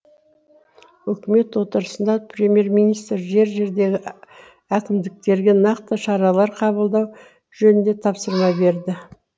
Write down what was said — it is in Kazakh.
үкімет отырысында премьер министр жер жердегі әкімдіктерге нақты шаралар қабылдау жөнінде тапсырма берді